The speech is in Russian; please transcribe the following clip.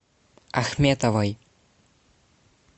ахметовой